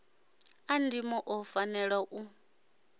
a ndimo o fanelaho u